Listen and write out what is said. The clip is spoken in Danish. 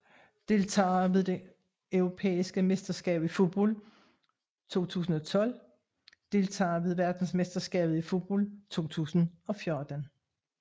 Deltagere ved det europæiske mesterskab i fodbold 2012 Deltagere ved verdensmesterskabet i fodbold 2014